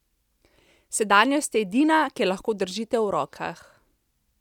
Sedanjost je edina, ki jo lahko držite v rokah.